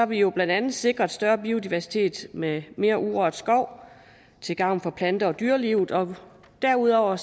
vi jo blandt andet sikret større biodiversitet med mere urørt skov til gavn for plante og dyrelivet og derudover